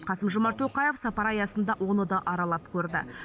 қасым жомарт тоқаев сапары аясында оны да аралап көрді